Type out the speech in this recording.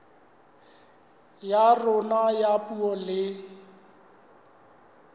ya rona ya puo le